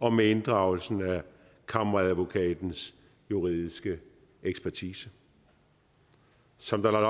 og med inddragelse af kammeradvokatens juridiske ekspertise som der er